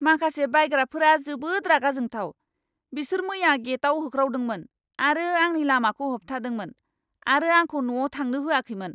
माखासे बायग्राफोरा जोबोद रागाजोंथाव। बिसोर मैया गेटआव होख्रावदोंमोन आरो आंनि लामाखौ होबथादोंमोन, आरो आंखौ न'आव थांनो होआखैमोन!